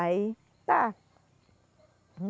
Aí, tá.